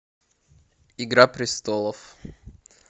игра престолов